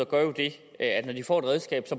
at de får et redskab